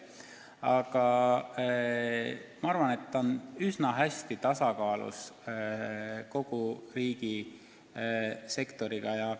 Aga ma arvan, et see tegevus on üsna hästi tasakaalus kogu riigisektoris toimuvaga.